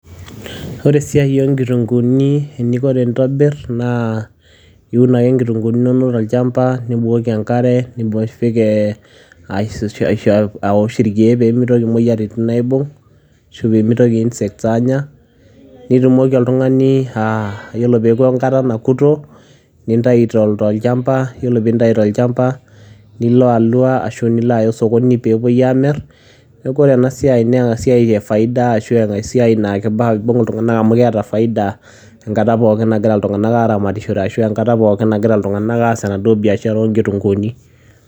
ore esiai oo nkitunkuuni eninko tenintobir. naa iun ake inkitunkuuni inonok tolchampa. nibukoki enkare, nipik aosh irkeek pee mitoki imoyiaritin aibung' ashu pee mitoki insects aanya. nitumoki oltungani aa ore pee euku enkata nakuto. nintayu tolchampa. iyiolo pee intayu tolchampa, nilo alua ashu nilo aya osokoni pee epuoi aamir. neeku ore ena siai, naa esiai efaida ashu esiai naa kifaa nibung iltunganak amu keeta faida enkata pookin nagira iltunganak aasishore ashu enkata pookin nagira iltunganak aa biashara oo nkitunkuuni.